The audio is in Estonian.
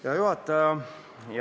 Hea juhataja!